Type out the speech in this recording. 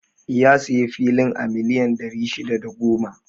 Ya sayi filin a miliyan ɗari shida da goma